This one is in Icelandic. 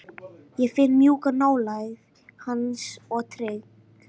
Ég finn mjúka nálægð hans og tryggð.